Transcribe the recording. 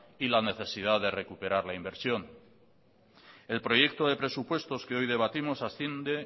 y la necesidad de recuperar la inversión el proyecto de presupuestos que hoy debatimos asciende